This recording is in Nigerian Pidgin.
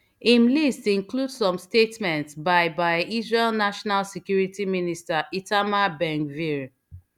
im list include some statements by by israel national security minister itamar bengvir